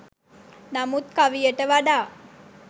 නමුත් කවියට වඩා